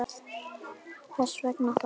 En hvers vegna það?